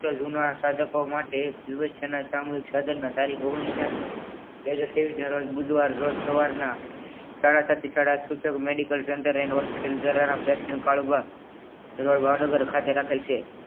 ફક્ત જુના સાધકો માટે દિવસના સામુહિક સાધનો તારીખ ઓગ્નીશ ચાર બે હજાર તેવીશ ના રોજ બુધવાર રોજ સવાર ના સાડા સાત થી સાડા સૂચક medical general and hospital દ્વારા best end કાળુભા તેમજ ભાવનગર ખાતે રાખેલ છે